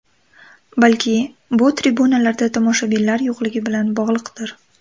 Balki, bu tribunalarda tomoshabinlar yo‘qligi bilan bog‘liqdir.